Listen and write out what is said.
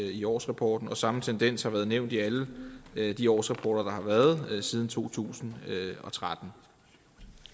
i årsrapporten og samme tendens har været nævnt i alle de årsrapporter der har været siden to tusind og tretten